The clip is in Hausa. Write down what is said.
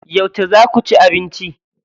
Yauce za ku ci abinci?